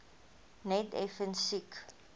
net effens siek